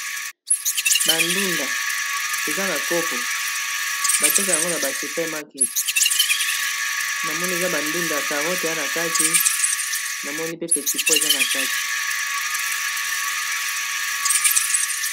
Bandunda eza na kopo bateka yango na ba super market na moni eza bandunda y carote eya na kati namoni pe petipo eza na kati